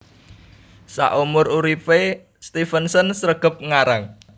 Saumur uripé Stevenson sregep ngarang